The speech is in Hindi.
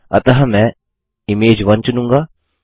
अतः मैं इमेज1 चुनूँगा